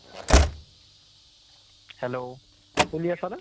hello, শুনি আছা নে ?